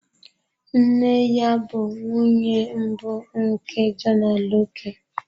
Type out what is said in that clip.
Nne ya bụ nwunye mbụ nke John Aloke.